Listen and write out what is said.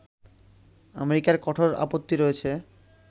আমেরিকার কঠোর আপত্তি রয়েছে